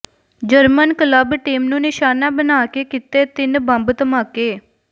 German club team ਨੂੰ ਨਿਸ਼ਾਨਾ ਬਣਾ ਕੇ ਕੀਤੇ ਤਿੰਨ ਬੰਬ ਧਮਾਕੇ